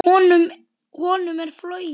Honum er flogið.